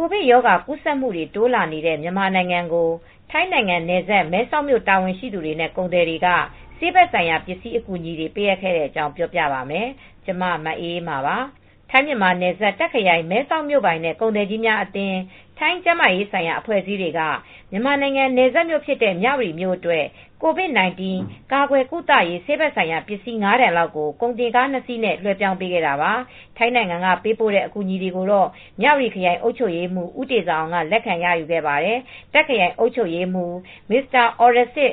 ကိုဗစ်ရောဂါ ကူးစက်မှုတွေ တိုးလာနေတဲ့ မြန်မာနိုင်ငံကို ထိုင်းနိုင်ငံနယ်စပ် မဲဆောက်မြို့တာဝန်ရှိသူတွေနဲ့ ကုန်သည်တွေက ဆေးဘက်ဆိုင်ရာပစ္စည်း အကူအညီတွေ ပေးအပ်ခဲ့တဲ့အကြောင်းကို ဗွီအိုအေမြန်မာပိုင်းသတင်းထောက် မအေးအေးမာက ပြောပြပါမယ်။ ထိုင်းမြန်မာနယ်စပ် တာ့ခ် ခရိုင် မဲဆောက်မြို့ပိုင်နဲ့ ကုန်သည်ကြီးများအသင်း ထိုင်းကျန်းမာရေးဆိုင်ရာ အဖွဲ့အစည်းတွေက မြန်မာနိုင်ငံ နယ်စပ်မြို့ဖြစ်တဲ့ မြဝတီမြို့အတွက် ကိုဗစ်-၁၉ ကာကွယ်ကုသရေး ဆေးဘက်ဆိုင်ရာပစ္စည်း ၅ တန်လောက်ကို ကုန်တင်ကား ၂ စီးနဲ့ လွဲှပြောင်းပေးလိုက်တာပါ။ ထိုင်းနိုင်ငံက ပေးပို့တဲ့ အကူအညီတွေကိုတော့ မြဝတီခရိုင် အုပ်ချုပ်ရေးမှူး ဦးတေဇာအောင်က လက်ခံရယူခဲ့ပါတယ်။ တာ့ခ်ခရိုင် အုပ်ချုပ်ရေးမှူး Mr. Orrasit